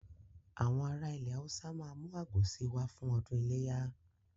Àwọn ará ilẹ̀ Haúsá ma mú àgbò si wá fún ọdún iléyà